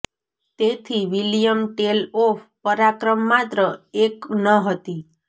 તેથી William Tell of પરાક્રમ માત્ર એક ન હતી